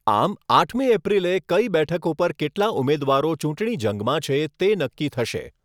આમ આઠમી એપ્રિલે કઈ બેઠક ઉપર કેટલા ઉમેદવારો ચૂંટણી જંગમાં છે તે નક્કી થશે.